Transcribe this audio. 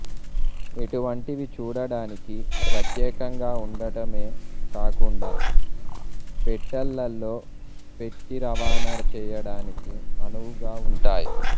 ఇటు వంటివి చూడ డానికి ప్రత్యేకంగా వుండటమే కాకుండా పెట్టెలలో పెట్టి రవాణా చేయడానికి అనువుగా వుంటాయి